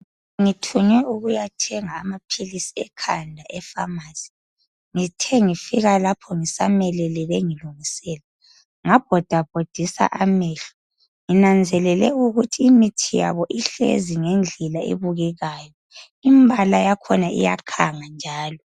Ngithunywe ukuyathenga amaphilisi ekhanda efamasi. Ngithe ngifika lapho ngisamelele bengilungisela ngabhodabhodisa amehlo. Nginanzelele ukuthi imithi yabo ihlezi ngendlela ebukekayo, imbala yakhona iyakhanga njalo.